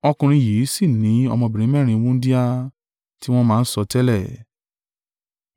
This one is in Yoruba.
Ọkùnrin yìí sì ní ọmọbìnrin mẹ́rin, wúńdíá, tí wọ́n máa ń sọtẹ́lẹ̀.